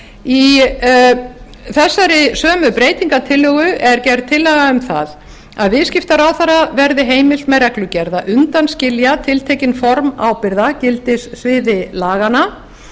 í þessari sömu breytingartillögu er gerð tillaga um það að viðskiptaráðherra verði heimilt með reglugerð að undanskilja tiltekin formaður ábyrgða gildissviði laganna